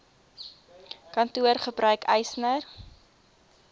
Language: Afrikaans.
kantoor gebruik eisnr